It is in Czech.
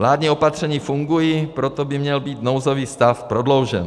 Vládní opatření fungují, proto by měl být nouzový stav prodloužen.